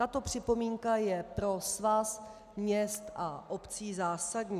Tato připomínka je pro Svaz měst a obcí zásadní.